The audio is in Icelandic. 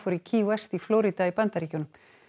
í Florida í Bandaríkjunum